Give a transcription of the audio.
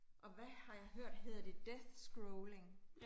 Og hvad har jeg hørt, hedder det death scrolling